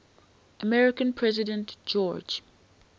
american president george